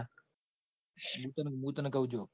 હું તન કૌ જો